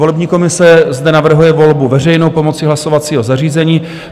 Volební komise zde navrhuje volbu veřejnou pomocí hlasovacího zařízení.